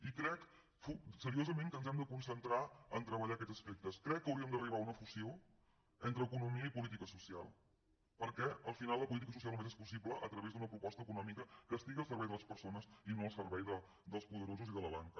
i crec seriosament que ens hem de concentrar a treballar aquests aspectes crec que hauríem d’arribar a una fusió entre economia i política social perquè al final la política social només és possible a través d’una proposta econòmica que estigui al servei de les persones i no al servei dels poderosos i de la banca